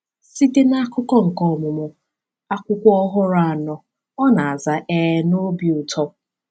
Site na akụkọ nke ọmụmụ akwụkwọ ọhụrụ anọ, ọ na-aza ee na obi ụtọ!